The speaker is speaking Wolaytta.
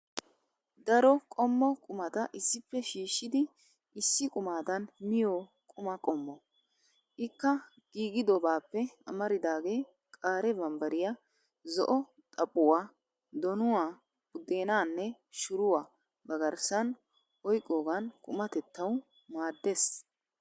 Daro qommo qumata issippe shiishidi issi qumadan miyo quma qommo. Ikka giigidobaappe amaridaagee qaare barbbariya, zo'o xaphuwaa, donuwaa, buddeenaanne shuruwaa ba garssan oyqqiyogan qumatettawu maaddeees.